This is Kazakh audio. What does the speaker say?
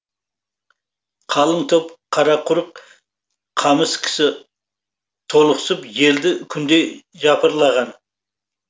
қалың топ қара құрық қамыс кісі толықсып желді күндей жапырылған